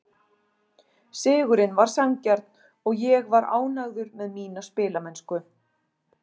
Sigurinn var sanngjarn og ég var ánægður með mína spilamennsku.